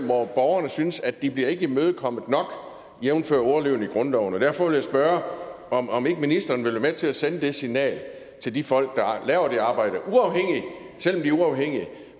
hvor borgerne synes at de ikke bliver imødekommet nok jævnfør ordlyden i grundloven derfor vil jeg spørge om om ikke ministeren vil være med til at sende det signal til de folk der laver det arbejde selv om de uafhængige